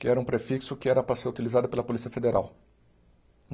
que era um prefixo que era para ser utilizado pela Polícia Federal.